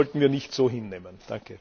Das sollten wir nicht so hinnehmen!